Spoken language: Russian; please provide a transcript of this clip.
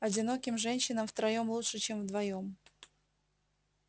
одиноким женщинам втроём лучше чем вдвоём